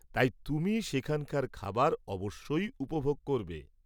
তাই তুমি সেখানকার খাবার অবশ্যই উপভোগ করবে।